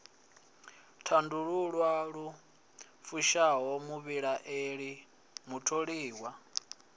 tandululwa lu fushaho muvhilaeli mutholiwa